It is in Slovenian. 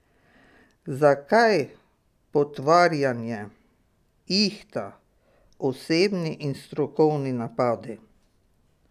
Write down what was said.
Zakaj potvarjanje, ihta, osebni in strokovni napadi?